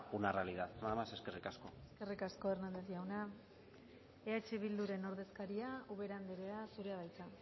una realidad nada más eskerrik asko eskerrik asko hernández jauna eh bilduren ordezkaria ubera andrea zurea da hitza